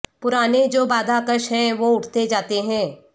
پرانے جو بادہ کش ہیں وہ اٹھتے جاتے ہیں